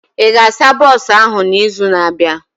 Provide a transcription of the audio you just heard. Ị ga-asa bọsụ ahụ na izu na abịa?